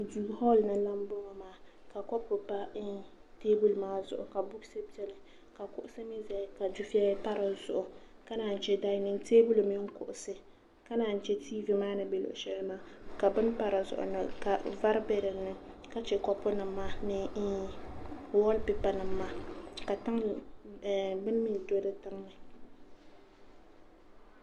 hool ni n lahi bɔŋɔ maa ka kɔpu pa teebuli maa zuɣu ka buuks biɛni kuɣusi bɛ dinni ka dufɛya pa dizuɣu ka naan yi chɛ dainin teebuli mini kuɣusi ka naan yi chɛ tiivi maa ni bɛ luɣu shɛli maa bini pa dizuɣu vari bɛ dinni ka chɛ kɔpu nim maa ni wool pipa nim maa ka bin mii do di tiŋli